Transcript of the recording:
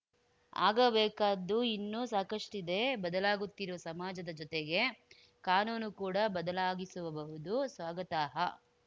ಆಗಬೇಕಾದ್ದು ಇನ್ನೂ ಸಾಕಷ್ಟಿದೆ ಬದಲಾಗುತ್ತಿರುವ ಸಮಾಜದ ಜೊತೆಗೆ ಕಾನೂನು ಕೂಡ ಬದಲಾಗಿಸಬಹುದು ಸ್ವಾಗತಾಹ